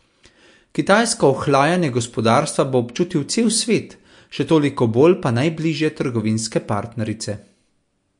Kitajsko ohlajanje gospodarstva bo občutil cel svet, še toliko bolj pa najbližje trgovinske partnerice.